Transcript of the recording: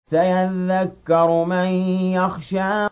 سَيَذَّكَّرُ مَن يَخْشَىٰ